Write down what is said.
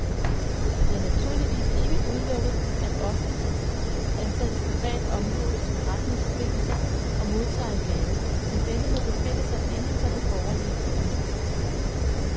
Det er naturligvis ikke udelukket, at offentligt ansatte privat omgås forretningsforbindelser og modtager en gave, men denne må befinde sig inden for det borgerlige jævnmål.